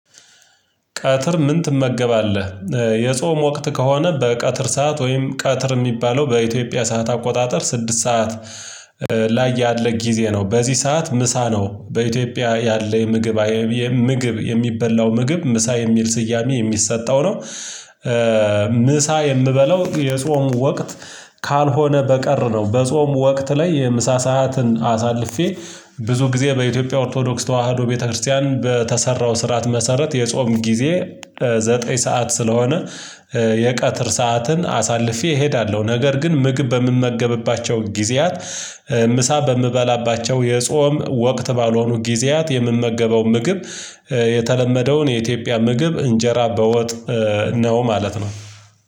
ቀትር ምን ትመገባለህ? የጾም ወቅት ከሆነ በቀትር ሰዓት ወይም ቀትር የሚባለው በኢትዮጵያ ሰዓት አቆጣጠር ስድስት ሰዓት ላይ ያለ ጊዜ ነው። በዚህ ሰዓት ምሳ ነው በኢትዮጵያ ያለ ምግብ ምግብ የሚበላው ምግብ ምሳ የሚል ስያሜ የሚሰጠው ነው። ምሳ የምበለው የጾም ወቅት ካልሆነ በቀር ነው። በጾም ወቅት ላይ የምሳ ሰዓትን አሳልፌ ብዙ ጊዜ በኢትዮጵያ ኦርቶዶክስ ተዋህዶ ቤተክርስቲያን በተሰራው ስርዓት መሰረት የጾም ጊዜ። ዘጠኝ ሰዓት ስለሆነ የቀትር ሰዓትን አሳልፌ እሄዳለሁ። ነገር ግን ምግብ በምመገብባቸው ጊዜያት። ምሳ በምበላባቸው የጾም ወቅት ባልሆኑ ጊዜያት የምመገበው ምግብ የተለመደውን የኢትዮጵያ ምግብ እንጀራ በወጥ ነው ማለት ነው።